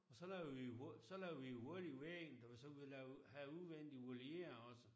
Så lavede vi jo hul så lavede vi jo hul i væggen så vi så havde udvendig voliere også